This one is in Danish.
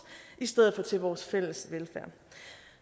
i stedet for til vores fælles velfærd